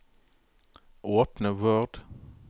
Åpne Word